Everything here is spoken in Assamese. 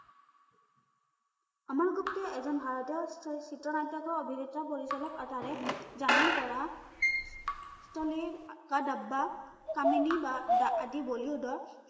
আমল গুপ্তা এজন ভাৰতীয় চি চিত্ৰ-নাট্যকাৰ, অভিনেতা, পৰিচালক আৰু তাৰে জামিন পৰা তলিৰ কা দাব্বা কামিনি বা আদি বলিউডৰ